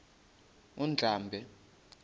undlambe